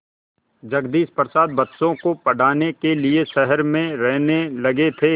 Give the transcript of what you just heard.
जगदीश प्रसाद बच्चों को पढ़ाने के लिए शहर में रहने लगे थे